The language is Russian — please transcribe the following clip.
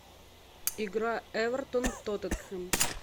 игра эвертон тоттенхэм